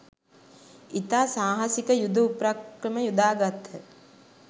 ඉතා සාහසික යුද උපක්‍රම යොදාගත්හ